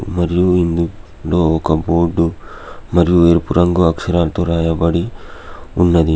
మరియు ఇందు లో ఒక బోర్డు మరియు ఎరుపు రంగు అక్షరాలతో రాయబడి ఉన్నది.